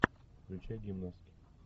включай гимнастки